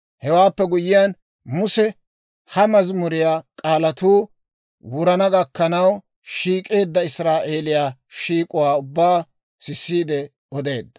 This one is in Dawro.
Hewaappe guyyiyaan, Muse ha mazimuriyaa k'aalatuu wurana gakkanaw, shiik'eedda Israa'eeliyaa shiik'uwaa ubbaa sissiide odeedda.